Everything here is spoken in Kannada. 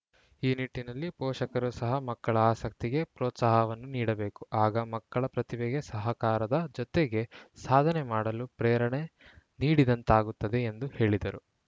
ಈ ನಿಟ್ಟಿನಲ್ಲಿ ಪೋಷಕರು ಸಹ ಮಕ್ಕಳ ಆಸಕ್ತಿಗೆ ಪ್ರೋತ್ಸಾಹವನ್ನು ನೀಡಬೇಕು ಆಗ ಮಕ್ಕಳ ಪ್ರತಿಭೆಗೆ ಸಹಕಾರ ದ ಜೊತೆಗೆ ಸಾಧನೆ ಮಾಡಲು ಪ್ರೇರಣೆ ನೀಡಿದಂತಾಗುತ್ತದೆ ಎಂದು ಹೇಳಿದರು